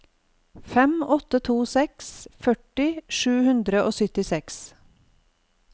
fem åtte to seks førti sju hundre og syttiseks